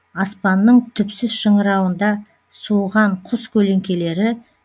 аспанның түпсіз шыңырауында суыған құс көлеңкелері